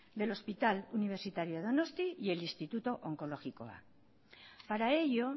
del hospital universitario donostia y el instituto onkologikoa para ello